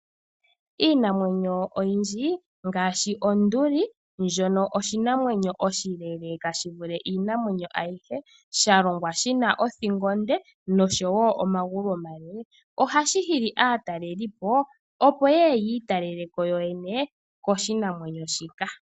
Iinamwenyo oyindji ngaashi Onduli, ndjono oshinamwenyo oshileeleeka shi vule iinamwenyo ayihe, sha longwa shi na othingo onde nosho wo omagulu omale, ohashi hili aatalelipo, opo ye ye yi italele ko yoyene koshinamwenyo shika.